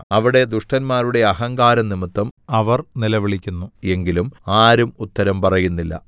അവിടെ ദുഷ്ടന്മാരുടെ അഹങ്കാരംനിമിത്തം അവർ നിലവിളിക്കുന്നു എങ്കിലും ആരും ഉത്തരം പറയുന്നില്ല